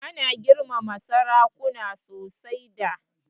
Ana girmama sarakuna sosai da.